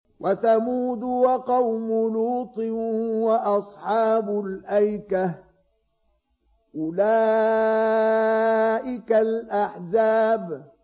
وَثَمُودُ وَقَوْمُ لُوطٍ وَأَصْحَابُ الْأَيْكَةِ ۚ أُولَٰئِكَ الْأَحْزَابُ